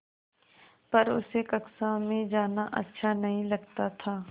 पर उसे कक्षा में जाना अच्छा नहीं लगता था